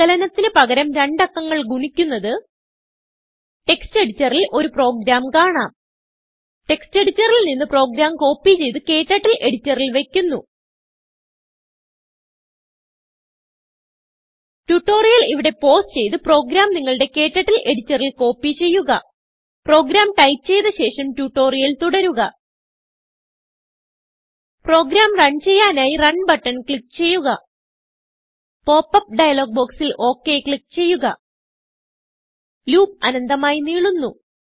സങ്കലനത്തിന് പകരം രണ്ട് അക്കങ്ങൾ ഗുണിക്കുന്നത് ടെക്സ്റ്റ് എഡിറ്ററിൽ ഒരു പ്രോഗ്രാം കാണാം textഎഡിറ്ററിൽ നിന്ന് പ്രോഗ്രാം കോപ്പി ചെയ്ത് ക്ടർട്ടിൽ എഡിറ്ററിൽ വയ്ക്കുന്നു ട്യൂട്ടോറിയൽ ഇവിടെ പൌസ് ചെയ്ത് പ്രോഗ്രാം നിങ്ങളുടെ KTurtleഎഡിറ്ററിൽ കോപ്പി ചെയ്യുക പ്രോഗ്രാം ടൈപ്പ് ചെയ്ത ശേഷം ട്യൂട്ടോറിയൽ തുടരുക പ്രോഗ്രാം റൺ ചെയ്യാനായി റണ് ബട്ടൺ ക്ലിക്ക് ചെയ്യുക pop അപ്പ് ഡയലോഗ് ബോക്സിൽ ഒക് ക്ലിക്ക് ചെയ്യുക ലൂപ്പ് അനന്തമായി നീളുന്നു